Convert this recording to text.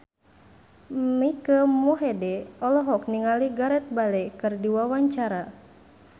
Mike Mohede olohok ningali Gareth Bale keur diwawancara